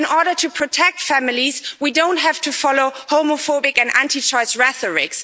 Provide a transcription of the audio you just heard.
In order to protect families we don't have to follow homophobic and anti choice rhetoric.